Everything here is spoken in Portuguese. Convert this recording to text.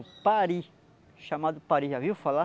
O pari, chamado pari, já viu falar?